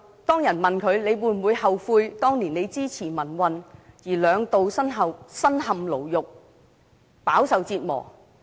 當別人問李旺陽會否後悔當年支持民運而兩度身陷牢獄，飽受折磨？